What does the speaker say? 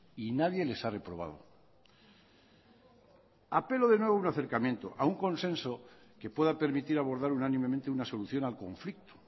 y nadie les ha reprobado apelo de nuevo un acercamiento a un consenso que pueda permitir abordar unánimemente una solución al conflicto